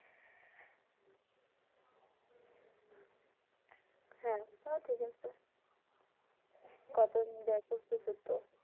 হ্যা তা ঠিক আছে কতজন যাইয়া করতেছেতো